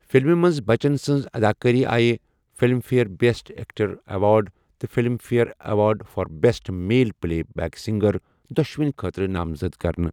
فِلمہِ منٛز بَچن سٕنٛز اَداکٲری آیہِ Filmfare best actor award تہٕ Filmfare award for best male playback singer, دۄشوٕنی خٲطرٕ نامزَد کرنہٕ۔